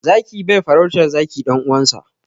Zaki bai farautar zaki ɗan uwansa.